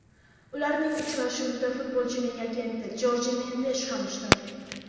Ularning uchrashuvida futbolchining agenti Jorje Mendesh ham ishtirok etdi.